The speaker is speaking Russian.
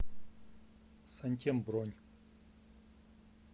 сантем бронь